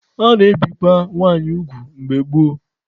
A na-ebikwa nwanyị ugwu mgbe gboo.